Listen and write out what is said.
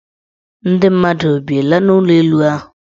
Ndị mmadụ ebiela n' ụlọelu ahụ?